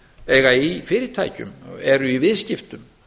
eiga í fyrirtækjum eru í viðskiptum